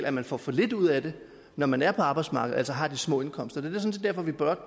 at man får for lidt ud af det når man er på arbejdsmarkedet altså har de små indkomster det set derfor vi